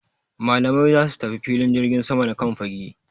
Malamai za su tafi filin jirgin sama na Kan fage